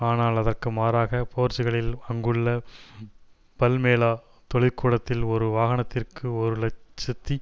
ஆனால் அதற்கு மாறாக போர்ச்சுகலில் அங்குள்ள பல்மேளா தொழிற்கூடத்தில் ஒரு வாகனத்திற்கு ஒரு இலட்சத்தி